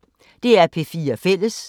DR P4 Fælles